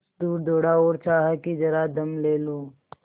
कुछ दूर दौड़ा और चाहा कि जरा दम ले लूँ